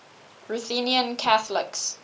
ruthenian catholics